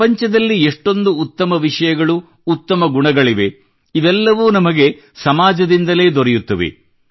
ಪ್ರಪಂಚದಲ್ಲಿ ಎಷೆ್ಟೂಂದು ಉತ್ತಮ ವಿಷಯಗಳು ಉತ್ತಮ ಗುಣಗಳಿವೆ ಇವೆಲ್ಲವೂ ನಮಗೆ ಸಮಾಜದಿಂದಲೇ ದೊರೆಯುತ್ತವೆ